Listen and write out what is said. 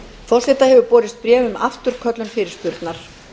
forseta hefur borist bréf um afturköllun fyrirspurnar